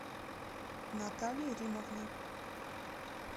наталье римовне